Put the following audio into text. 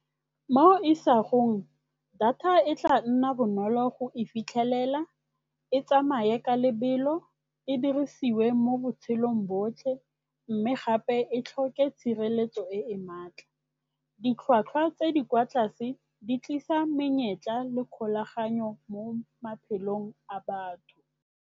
Mo isagong data e tla nna bonolo go e fitlhelela, e tsamaye ka lebelo, e dirisiwe mo botshelong botlhe mme gape e tlhoke tshireletso e e maatla. Ditlhwatlhwa tse di kwa tlase di tlisa menyetla le kgolaganyo mo maphelong a batho.